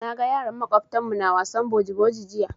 Na ga yaran maƙwabtan mu na wasan boji boji jiya.